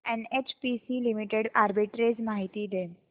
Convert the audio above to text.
NHPC limited arbitrage माहिती दे